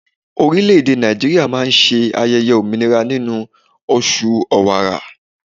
Orileèdè Nàìjíríà má a máa se ayẹyẹ òmìnira nínú oṣù Ọ̀wààrà